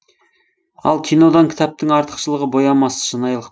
ал кинодан кітаптың артықшылығы боямасыз шынайылық